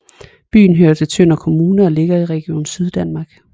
Byen hører til Tønder Kommune og ligger i Region Syddanmark